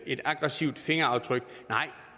et aggressivt fingeraftryk nej